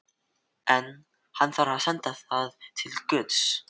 En- hann þarf að senda það til guðs.